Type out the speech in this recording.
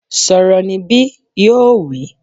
Sọ̀rọ̀ níbí! Yóò wí